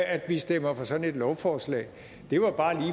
at vi stemmer for sådan et lovforslag det var bare